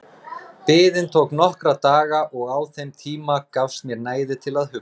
Biðin tók nokkra daga og á þeim tíma gafst mér næði til að hugsa.